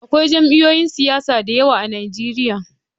Akwai jam'iyun siyasa da yawa a Nijeriya